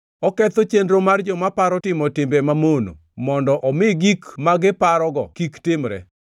Oketho chenro mar joma paro timo timbe mamono mondo omi gik ma giparogo kik timre.